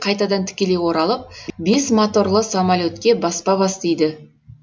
қайтадан тікелей оралып бес моторлы самолетке баспа бас дейді